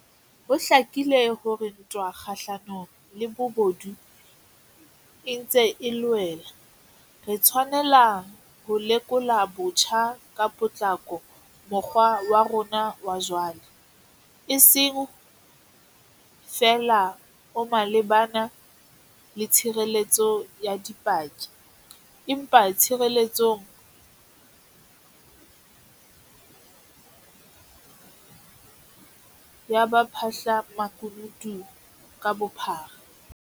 Ho hlakile hore ha ntwa kgahlanong le bobodu e ntse e loela, re tshwanela ho lekola botjha ka potlako mokgwa wa rona wa jwale, e seng feela o malebana le tshireletso ya dipaki, empa le tshireletsong ya baphahlamakunutu ka bophara.